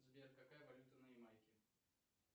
сбер какая валюта на ямайке